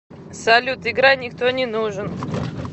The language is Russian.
салют играй никто не нужен